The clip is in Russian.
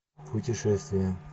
путешествия